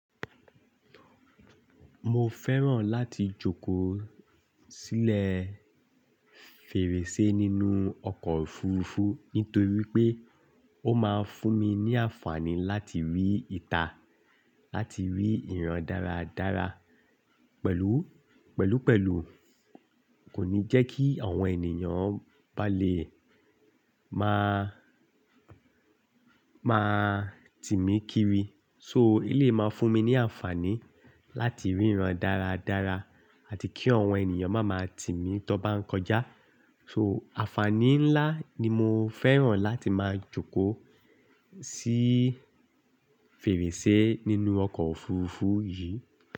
Mo fẹ́ràn láti jókòó sílẹ̀ fèrèsé nínú ọkọ̀ òfurufú nítorí pé ó máa ń fún mi ní àǹfààní láti rí ìta, láti rí ìran dáradára. Pẹ̀lú, pẹ̀lú pẹ̀lú kò ní jẹ́ kí àwọn ènìyàn bá lè máa, máa tímí kiri. So eléyìí máa ń fún mi ní àǹfààní láti rí ìran dáradára àti kí àwọn ènìyàn má máa tímí tó bá ń kọjá. So, àǹfààní ńlá ni mo fẹ́ràn láti máa jókòó sí fèrèsé nínú ọkọ̀ òfurufú yìí.